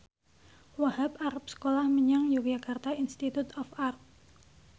Wahhab arep sekolah menyang Yogyakarta Institute of Art